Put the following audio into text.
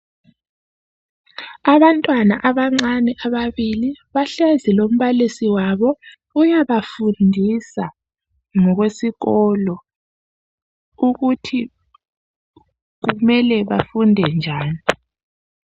Abantwana abancane ababili bahlezi lombalisi wabo. Uyabafundisa ngokwesikolo ukuthi kumele bafunde njani .